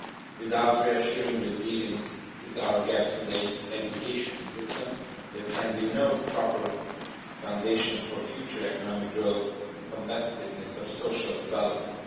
Without reassuringly dealing with our gaps in the education system, there can be no proper foundation for future economic growth, competitiveness or social development.